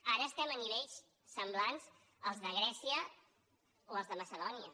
ara estem a nivells semblants als de grècia o als de macedònia